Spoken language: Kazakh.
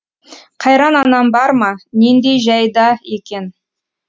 қайран анам бар ма нендей жәйда екен